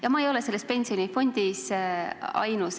Ja ma ei ole selles pensionifondis ainus.